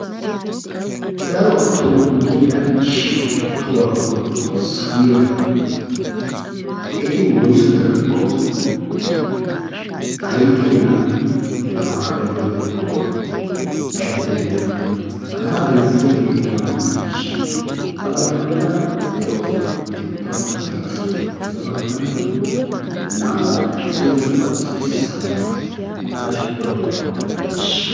Daro tonggu giya shituwaa woykko ixxiko sawiyaba eti woyssu birako eti aykeena eta wagay gidiyakko eretibena. Hagaa bayzziyage oona gidanesha? Ha baggaankka de'osona. Beetokkona qi basay beetees. Ya baggaan gin naa'u aynete issoy zo'uwaa issoy samayiya. Hegaa shituwaa goday oona gidanesha?